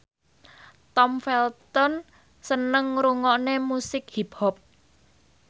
Tom Felton seneng ngrungokne musik hip hop